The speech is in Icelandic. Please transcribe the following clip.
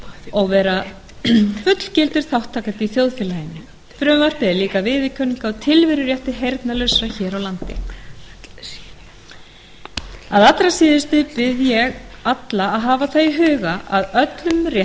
og vera fullgildur þátttakandi í þjóðfélaginu frumvarpið er líka viðurkenning á tilverurétti heyrnarlausra hér á landi að allra síðustu bið ég alla að hafa það í huga að öllum